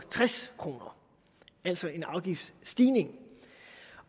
tres kr altså en afgiftsstigning